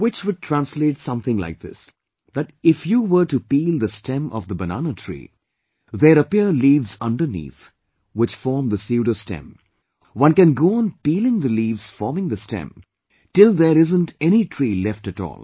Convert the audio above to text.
Which would translate something like this that if you were to peel the stem of the banana tree, there appear leaves underneath which form the psuedostem, one can go peeling the leaves forming the stem till there isn't any tree left at all